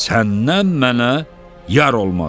Səndən mənə yar olmaz